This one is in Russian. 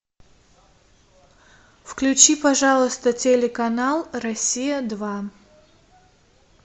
включи пожалуйста телеканал россия два